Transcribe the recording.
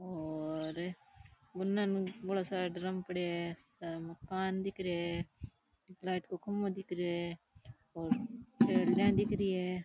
और उने बड़ा सारा ड्रम पड़ेया है मकान दिख रे है लाइट को खम्भों दिख रे है और खेलडिया दिख री है।